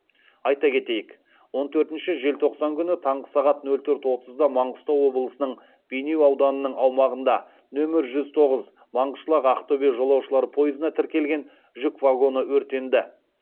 айта кетейік он төртінші желтоқсан күні таңғы сағат нөл төрт отызда маңғыстау облысының бейнеу ауданының аумағында нөмір жүз тоғыз маңғышлақ ақтөбе жолаушылар пойызына тіркелген жүк вагоны өртенді